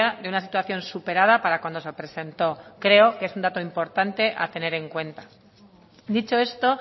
de una situación superada para cuando se presentó creo que es un dato importante a tener en cuenta dicho esto